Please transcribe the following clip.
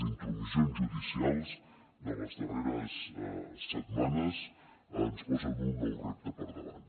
intromissions judicials de les darreres setmanes ens posen un nou repte per davant